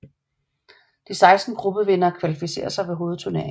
De 16 gruppevindere kvalificerer sig til hovedturneringen